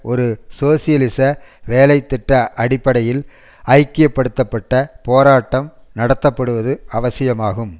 ஒரு சோசியலிச வேலைதிட்ட அடிப்படையில் ஐக்கியப்படுத்தப்பட்ட போராட்டம் நடத்தப்படுவது அவசியமாகும்